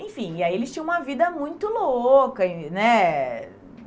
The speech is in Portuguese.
Enfim, e aí eles tinham uma vida muito louca e, né?